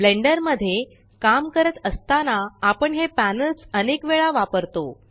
blender मध्ये काम करत असताना आपण हे पॅनल्स अनेक वेळा वापरतो